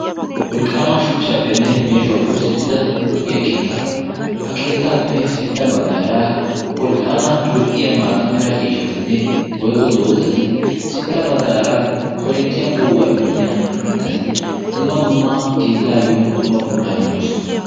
Wolqqaama shuchchappenne meeshuwaappe oosettida lo"iya keettaa ha keettaappe sintta baggaara wolqqaama lo"iya maatamera ciishatinne woyko doozati sintta baggaara korinttiyaa poo'uwaa immiya mittati dumma dumma keettaayyo dumma puulaa immidoosona.